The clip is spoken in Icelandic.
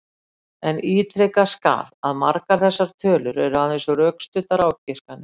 En ítrekað skal að margar þessar tölur eru aðeins rökstuddar ágiskanir.